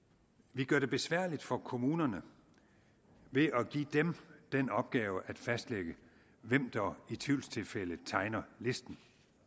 vi gør det besværligt for kommunerne ved at give dem den opgave at fastlægge hvem der i tvivlstilfælde tegner listen